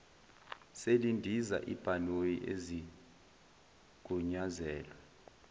selindiza ibhanoyi ezigunyazelwe